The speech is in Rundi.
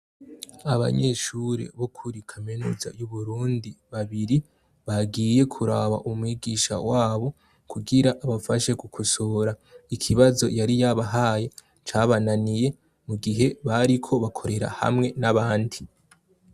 Abanyeshure bo kuri kaminuza y'Uburundi babiri bagiye kuraba umwigisha wabo kugira abafashe gukosora ikibazo yari yabahaye , cabananiye mu gihe bariko bakorera hamwe n'abandi.